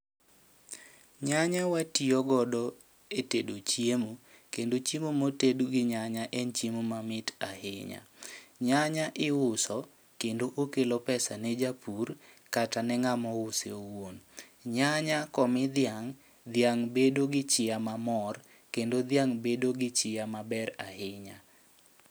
Nyanya watiyo godo e tedo chiemo, kendo chiemo moted gi nyanya en chiemo ma mit ahinya. Nyanya iuso kendo okelo pesa ne japur kata ne ng'amo use owuon. Nyanya komi dhiang', dhiang' bedo gi chiya ma mor kendo dhiang' bedo gi chiya maber ahinya.